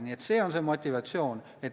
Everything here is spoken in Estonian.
Nii et see on see motivatsioon.